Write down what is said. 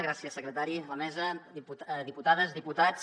gràcies secretari la mesa diputades diputats